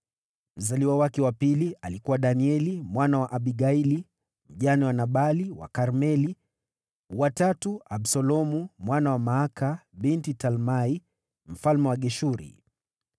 mzaliwa wake wa pili alikuwa Danieli mwana wa Abigaili, mjane wa Nabali wa Karmeli; wa tatu, Absalomu mwana wa Maaka, binti Talmai mfalme wa Geshuri;